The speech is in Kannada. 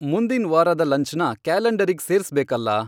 ಮುಂದಿನ್ ವಾರದ್ ಲಂಚ್ನ ಕ್ಯಾಲೆಂಡರಿಗ್ ಸೇರ್ಸ್ಬೇಕಲ್ಲಾ